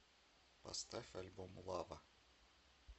поставь альбом лава